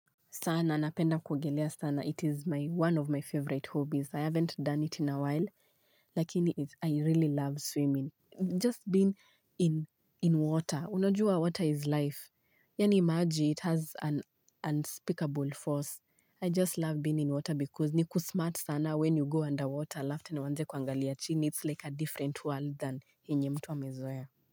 Sana napenda kwogelea sana it is one of my favorite hobbies i haven't done it in a while lakini i really love swimming. Just being in water. Unajua water is life. Yani maji it has an unspeakable force. I just love being in water because ni kusmart sana when you go underwater. aLaf tena uanze kwangalia chini. It's like a different world than hinye mtu amezoea.